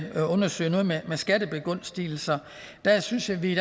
undersøge noget med skattebegunstigelser der synes vi i